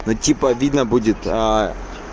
ну типа обидно будет